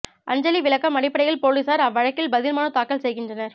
அஞ்சலி விளக்கம் அடிப்படையில் போலீசார் அவ்வழக்கில் பதில் மனு தாக்கல் செய்கின்றனர்